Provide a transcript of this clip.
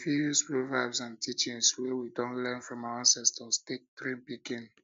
we fit use proverbs and teachings wey we don learn from our ancestor take train pikin